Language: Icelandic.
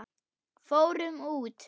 Fórum út!